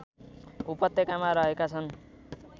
उपत्यकामा रहेका छन्